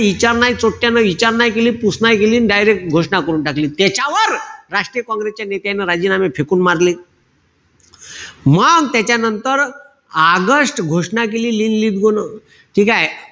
विचार नाई चोट्यानो विचार नाई केली, पूस नाई केली आणि direct घोषणा करून टाकली. त्याच्यावर राष्ट्रीय काँग्रेस च्या नेत्यानं राजीनामे फेकून मारले. मग त्याच्यानंतर आगस्ट घोषणा केली. न. ठीकेय?